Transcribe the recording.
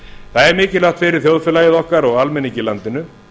það er mikilvægt fyrir þjóðfélagið okkar og almenning í landinu